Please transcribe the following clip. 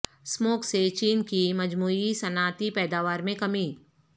smog سے چین کی مجموعی صنعتی پیداوار میں کمی